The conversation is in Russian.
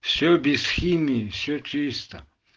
все без химии все чисто